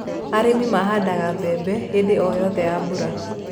Arĩmi mahandaga mbembe hĩndĩ o yothe ya mbura.